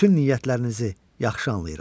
Bütün niyyətlərinizi yaxşı anlayıram.